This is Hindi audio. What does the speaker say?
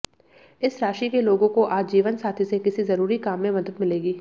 इस राशि के लोगों को आज जीवनसाथी से किसी जरूरी काम में मदद मिलेगी